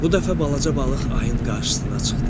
Bu dəfə balaca balıq ayın qarşısına çıxdı.